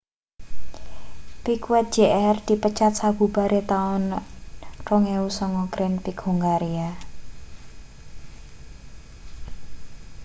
piquet jr dipecat sabubare taun 2009 grand prix hungaria